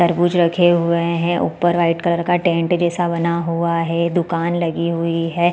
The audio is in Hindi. तरबुज रखे हुए है ऊपर वाइट कलर का टेंट जैसा बना हुआ है दुकान लगी हुई है।